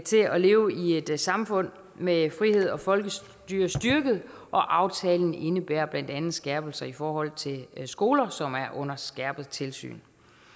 leve i et samfund med frihed og folkestyre styrket og aftalen indebærer blandt andet skærpelser i forhold til skoler som er under skærpet tilsyn